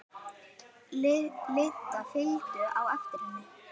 Lilla fylgdu á eftir henni.